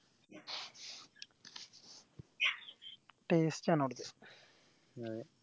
taste ആൺ അവിടുത്തെ